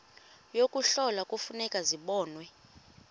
yokuhlola kufuneka zibonwe